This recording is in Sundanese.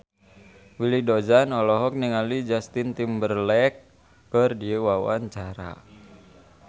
Willy Dozan olohok ningali Justin Timberlake keur diwawancara